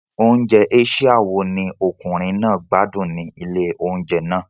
Oúnjẹ Asia wo ni ọkùnrin náà gbádùn ní ilé-oúnjẹ náà?